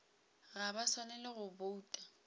ga ba swanela go bouta